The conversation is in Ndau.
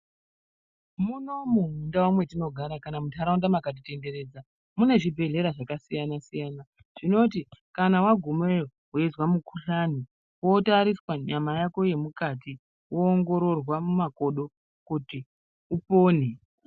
Munomu mundau mwatinogara kana mundharaunda dzakati komberedza mune zvibhehlera zvakasiyana siyana zvinoti kana wagumeyo weizwa mukhuhlani wotariswa nyama yako yemukati woongororwa mumakodo kuti upone